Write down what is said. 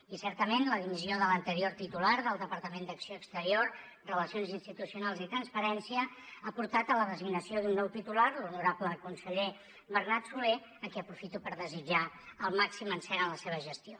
i certament la dimissió de l’anterior titular del departament d’acció exterior relacions institucionals i transparència ha portat a la designació d’un nou titular l’honorable conseller bernat solé a qui aprofito per desitjar el màxim encert en la seva gestió